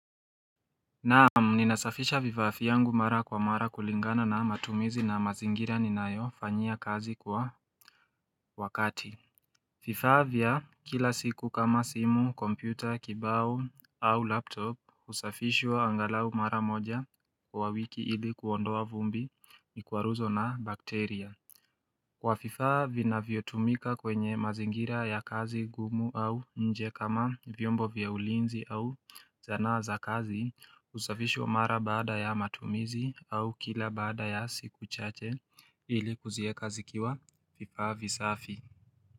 Naamu ninasafisha vifaa fiangu mara kwa mara kulingana na matumizi na mazingira ninayo fanyia kazi kwa wakati fifaa vya kila siku kama simu, kompyuta, kibao au laptop usafishwa angalau mara moja kwa wiki ili kuondoa vumbi ni kuwaruzo na bakteria Kwa fifa vina vyotumika kwenye mazingira ya kazi gumu au nje kama vyombo vya ulinzi au zana za kazi usafishwa mara baada ya matumizi au kila baada ya siku chache ili kuzieka zikiwa fifa visafi.